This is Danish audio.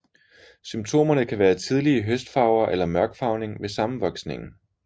Symptomerne kan være tidlige høstfarver eller mørkfarvning ved sammenvoksningen